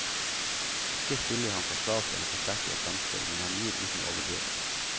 Ikke spiller han for svakt eller for sterkt i et samspill, men han gir uten å overdrive.